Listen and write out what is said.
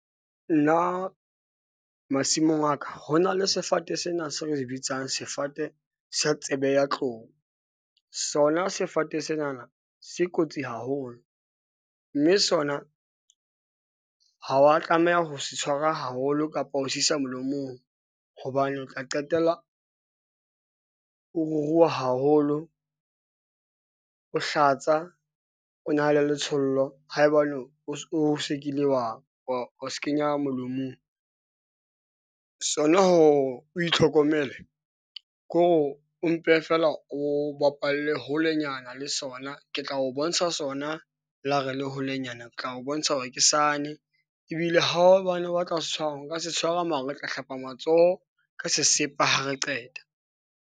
Nna masimong a ka ho na le sefate sena se re se bitsang sefate sa tsebe ya tlou. Sona sefate se na na se kotsi haholo. Mme sona ha wa tlameha ho se tshwara haholo kapa ho se isa mohlomong, hobane o tla qetella o ruruha haholo . O hlatsa, o na le letshollo haebane o o sekile wa wa se kenya molomong. Sona, ho o itlhokomele kore o mpe feela o bapalle holenyana le sona. Ke tla o bontsha sona le ha re le holenyana tla o bontsha hore ke sane ebile ha hobane o batla ho se tshwara o ka se tshwara mara otla hlapa matsoho ka sesepa ha re qeta.